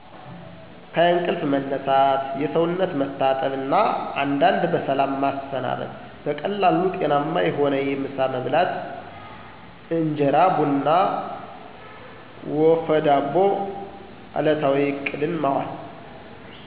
ከእንቅልፍ መነሳት፣ የሰውነት ማጠብ እና አንዳንድ በሰላም ማሰናበት። በቀላሉ ጤናማ የሆነ የምሳ መብላት (እንጀራ፣ ቡና ወፈ ዳቦ) እለታዊ እቅድን ማዋል